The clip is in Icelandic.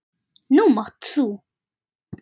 Nú mátt þú.